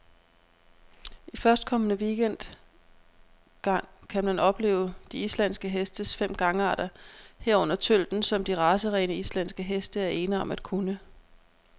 I førstkommende weekend gang kan man opleve de islandske hestes fem gangarter, herunder tølten, som de racerene, islandske heste er ene om at kunne.